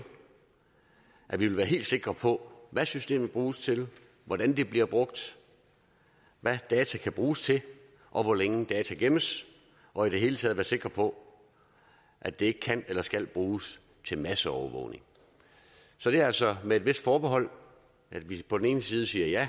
at vi vil være helt sikre på hvad systemet bruges til hvordan det bliver brugt hvad data kan bruges til og hvor længe data gemmes og i det hele taget være sikre på at det ikke kan eller skal bruges til masseovervågning så det er altså med et vist forbehold at vi på den ene side siger ja